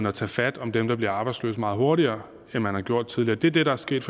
at tage fat om dem der bliver arbejdsløse meget hurtigere end man har gjort tidligere det er det der er sket